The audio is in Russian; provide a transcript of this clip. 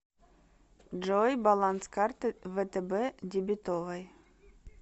джой баланс карты втб дебетовой